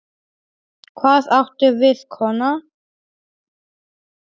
Hvað áttu við, kona?